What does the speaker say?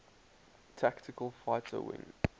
tactical fighter wing